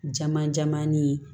Jama jamanni ye